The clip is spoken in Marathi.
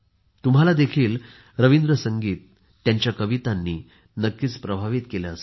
तुम्हाला देखील रवींद्र संगीत त्यांच्या कवितांनी नक्कीच प्रभवित केले असेल